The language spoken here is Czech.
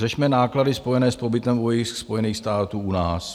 Řešme náklady spojené s pobytem vojsk Spojených států u nás.